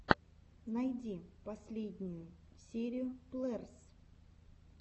найти последнюю серию плеерс